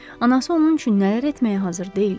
Anası onun üçün nələr etməyə hazır deyildi!